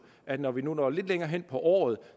at når vi når lidt længere hen på året